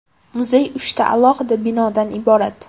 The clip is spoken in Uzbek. Muzey uchta alohida binodan iborat.